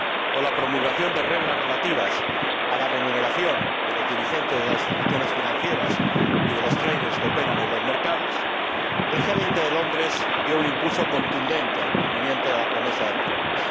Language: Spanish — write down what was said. o la promulgación de reglas relativas a la remuneración de los dirigentes de las instituciones financieras y de los traders que operan en los mercados, el G 20 de Londres dio un impulso contundente al cumplimiento de la promesa de reformas.